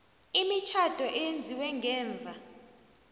imitjhado eyenziwe ngemva